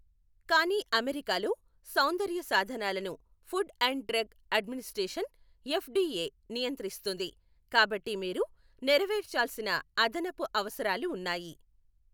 కానీ అమెరికాలో, సౌందర్య సాధనాలను Food and Drug Administration, FDA, నియంత్రిస్తుంది, కాబట్టి మీరు నెరవేర్చాల్సిన అదనపు అవసరాలు ఉన్నాయి.